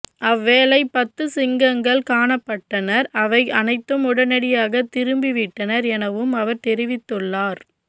அவ்வேளை பத்து சிங்கங்கள் காணப்பட்டன அவை அனைத்தும் உடனடியாக திரும்பிவிட்டன எனவும் அவர் தெரிவித்துள்ளார்